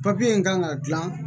Papiye in kan ka gilan